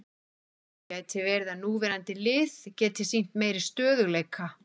Það gæti verið að núverandi lið geti sýnt meiri stöðugleika.